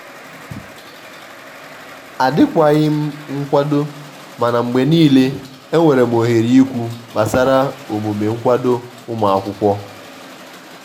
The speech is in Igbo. adi kwaghim nkwadomana mgbe nile enwerem ohere ikwụ kpasara omume nkwado ụmụakwụkwọ.